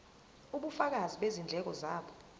ubufakazi bezindleko zabo